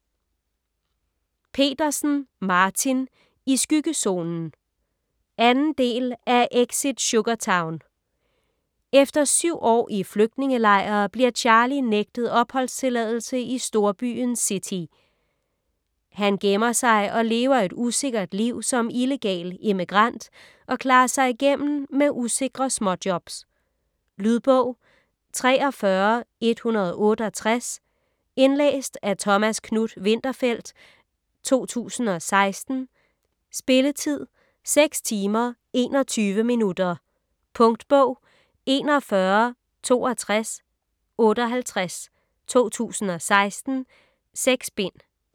Petersen, Martin: I skyggezonen 2. del af Exit Sugartown. Efter 7 år i flygtningelejr bliver Charlie nægtet opholdstilladelse i storbyen City. Han gemmer sig og lever et usikkert liv som illegal immigrant, og klarer sig igennem med usikre småjobs. Lydbog 43168 Indlæst af Thomas Knuth-Winterfeldt, 2016. Spilletid: 6 timer, 21 minutter. Punktbog 416258 2016. 6 bind.